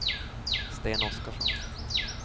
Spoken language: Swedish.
Sten Oskarsson